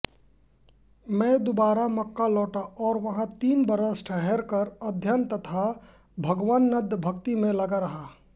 में दुबारा मक्का लौटा और वहाँ तीन बरस ठहरकर अध्ययन तथा भगवनदभक्ति में लगा रहा